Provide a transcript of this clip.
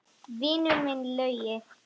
Vinur minn Laugi!